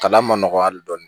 Kalan man nɔgɔ hali dɔɔni